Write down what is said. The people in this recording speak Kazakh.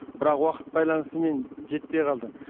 бірақ уақыт байланысымен жетпей қалды